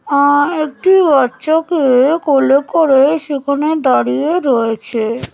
মা একটি বাচ্চা কে-এ কোলে করে-এ সেখানে দাঁড়িয়ে রয়েছে-এ ।